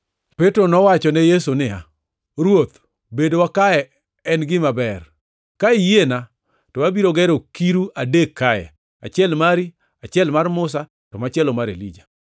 Petro nowachone Yesu niya, “Ruoth, bedowa kae en gima ber. Ka iyiena to abiro gero kiru adek kae; achiel mari, achiel mar Musa to machielo mar Elija.”